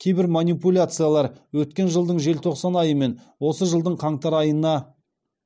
кейбір манипуляциялар өткен жылдың желтоқсан айы мен осы жылдың қаңтар айына